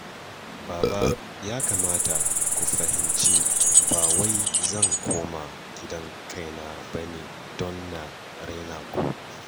Baba ya kamata ku fahimci ba wai zan koma gidan kaina ba ne don na raina naku